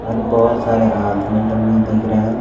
और बहुत सारे आदमी लोग भी दिख रहे हैं।